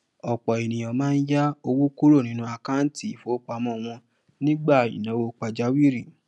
ọpọ ènìyàn máa ń yá owó kúrò nínú àkáńtì ifowópamọ wọn nígbà ìnáwó pajawiri